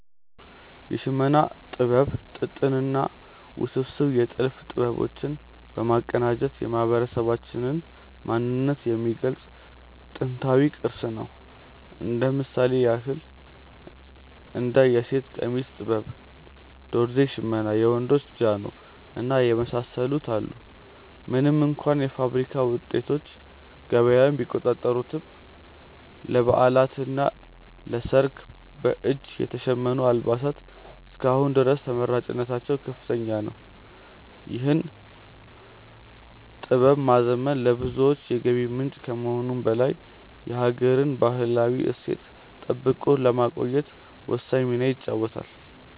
የሽመና ጥበብ ጥጥንና ውስብስብ የጥልፍ ጥበቦች በማቀናጀት የማህበረሰባችንን ማንነት የሚገልጽ ጥንታዊ ቅርስ ነው። እንደ ምሳሌ ያክል እንደ የሴት ቀሚስ ጥበብ፣ ዶርዜ ሽመና፣ የወንዶች ጃኖ እና የመሳሰሉትን አሉ። ምንም እንኳ የፋብሪካ ውጤቶች ገበያውን ቢቆጣጠሩትም፣ ለበዓላትና ለሰርግ በእጅ የተሸመኑ አልባሳት እስከ አሁን ድረስ ተመራጭነታቸው ከፍተኛ ነው። ይህን ጥበብ ማዘመን ለብዙዎች የገቢ ምንጭ ከመሆኑም በላይ የሀገርን ባህላዊ እሴት ጠብቆ ለማቆየት ወሳኝ ሚና ይጫወታል።